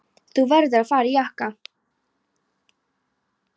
Þú verður að fara í jakka.